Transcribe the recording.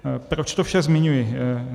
Proč to vše zmiňuji?